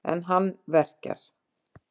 En hann verkjar.